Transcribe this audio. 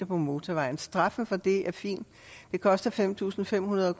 på motorvejen straffen for det er fin det koster fem tusind fem hundrede